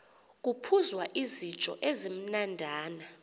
kuphuzwa izityo ezimnandana